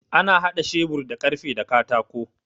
Ana haɗa shebur da karfe da katako